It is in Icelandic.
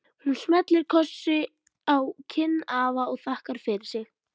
Hún smellir kossi á kinn afa og þakkar fyrir sig.